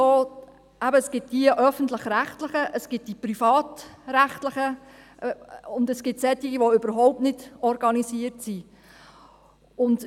Im Moment gibt es die öffentlich-rechtlichen, die privatrechtlichen, und es gibt solche, die überhaupt nicht organisiert sind.